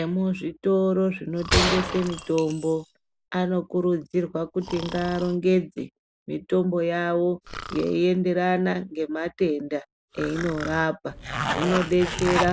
Emuzvitoro zvinotengese mitombo anokurudzirwa kuti ngaarongedze mitombo yawo yeienderana ngematenda einorapa zvinodetsera